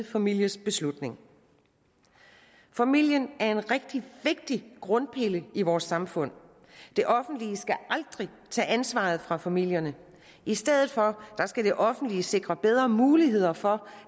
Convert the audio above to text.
families beslutning familien er en rigtig vigtig grundpille i vores samfund det offentlige skal aldrig tage ansvaret fra familierne i stedet for skal det offentlige sikre bedre muligheder for